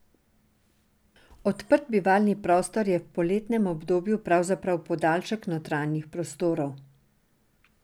Odprt bivalni prostor je v poletnem obdobju pravzaprav podaljšek notranjih prostorov.